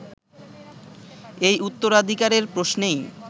এই উত্তরাধিকারের প্রশ্নেই